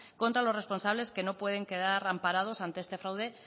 contra los responsables que no pueden quedar amparados ante este fraude